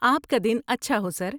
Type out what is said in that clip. آپ کا دن اچھا ہو، سر!